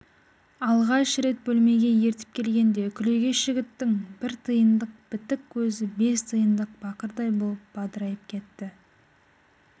алғаш рет бөлмеге ертіп келгенде күлегеш жігіттің бір тиындық бітік көзі бес тиындық бақырдай болып бадырайып кетті